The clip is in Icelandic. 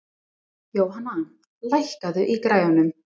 Jóhanna, lækkaðu í græjunum.